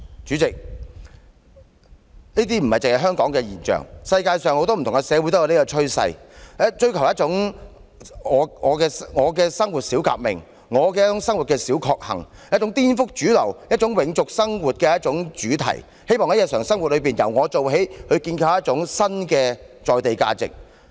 主席，這不僅是香港的現象，世界上很多社會也有這種趨勢，追求"我的生活小革命"，"我的生活小確幸"，一種顛覆主流、永續生活的主題，希望在日常生活中由我做起，建構一種新的在地價值。